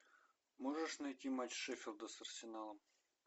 можешь найти матч шеффилда с арсеналом